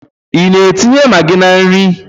Ị na-etinye magị na nri?